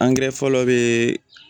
fɔlɔ be